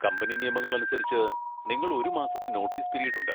Company നിയമങ്ങൾ അനുസരിച്ച്, നിങ്ങൾ ഒരു മാസത്തെ നോട്ടീസ് പിരീഡ് ഉണ്ട്.